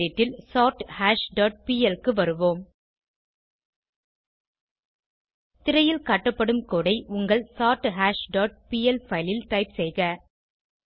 gedit ல் சோர்தாஷ் dot pl க்கு வருவோம் திரையில் காட்டப்படும் கோடு ஐ உங்கள் சோர்தாஷ் டாட் பிஎல் பைல் ல் டைப் செய்க